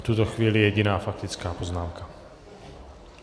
V tuto chvíli jediná faktická poznámka.